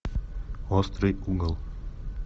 острый угол